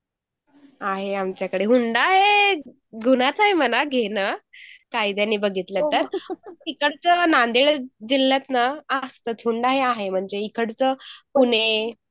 आहे आमच्याकडे हुंडा आहे, गुन्हाच आहे म्हणा घेणं कायद्याने बघितलं तर तिकडचं नांदेड जिल्ह्यात ना हुंडा ही आहे म्हणजे इकडचं पुणे